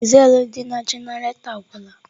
Dizelụ dị na jenaretọ agwụla.